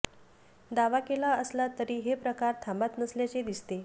दावा केला असला तरी हे प्रकार थांबत नसल्याचे दिसते